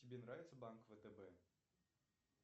тебе нравится банк втб